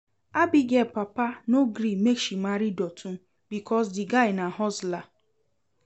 Abigail papa no gree make she marry Dotun because the guy na hustler